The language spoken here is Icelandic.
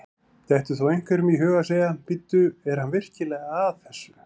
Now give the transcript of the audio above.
Dettur þá einhverjum í hug að segja: Bíddu, er hann virkilega að þessu?